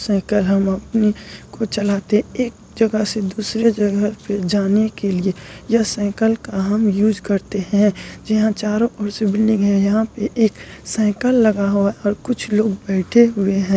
Cycle हम अपनी को चलाते एक जगह से दूसरी जगह पे जाने के लिए यह साइकिल का हम यूज़ करते हैं जहाँ चारों और से बिल्डिंग है यहाँ पे एक साइकिल लगा हुआ है और कुछ लोग बैठे हुए हैं।